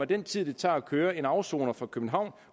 den tid det tager at køre en afsoner fra københavn